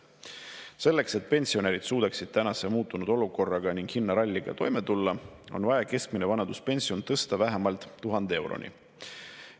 Selleks et pensionärid suudaksid tänase muutunud olukorraga ning hinnaralliga toime tulla, on vaja keskmine vanaduspension tõsta vähemalt 1000 euroni.